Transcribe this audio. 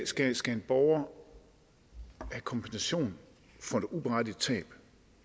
skal skal en borger have kompensation for et uberettiget tab